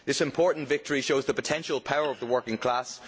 This important victory shows the potential power of the working class.